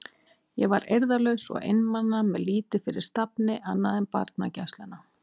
Ég var eirðarlaus og einmana með lítið fyrir stafni annað en barnagæsluna.